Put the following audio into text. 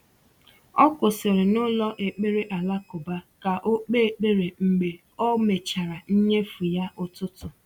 O kwụsịrị n’ụlọ ekpere alakụba ka o kpee ekpere mgbe o mechara nnyefe ya ụtụtụ.